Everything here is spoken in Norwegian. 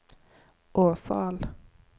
Åseral